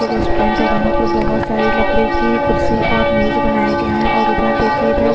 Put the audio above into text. ये रेस्टोरेंट है और यहाँ पर बहोत सारी लकड़ी की कुर्सी और मेज बनाए गए है और उधर देखिए इधर -